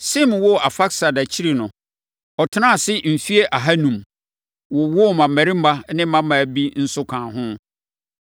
Sem woo Arfaksad akyiri no, ɔtenaa ase mfeɛ aha enum, wowoo mmammarima ne mmammaa bi nso kaa ho.